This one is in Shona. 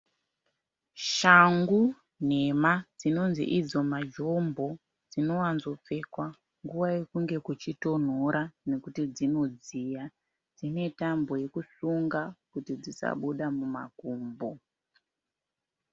Shangu nhema dzinonzi idzo majombo dzinowanza kupfekwa munguva yekunge kuchitonhora nekuti dzinodziya, dzine tambo yekusunga kuti dzisabude mumakumbo.